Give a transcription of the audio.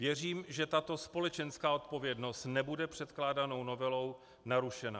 Věřím, že tato společenská odpovědnost nebude předkládanou novelou narušena.